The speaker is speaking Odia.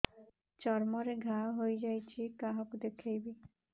ଚର୍ମ ରେ ଘା ହୋଇଯାଇଛି କାହାକୁ ଦେଖେଇବି